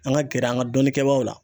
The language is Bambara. An ka gɛrɛ an ka dɔnnikɛbaaw la.